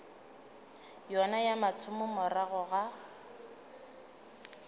yona ya mathomo morago ga